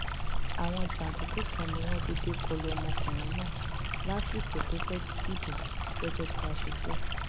àwọn jàǹdùkú kan ni wọn déédé kọlu ọmọkùnrin náà lásìkò tó fẹẹ dìbò gẹgẹ bí a ṣe gbọ